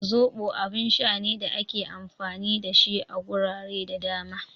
Zoɓo abun sha ne da ake amfani da shi a gurare da dama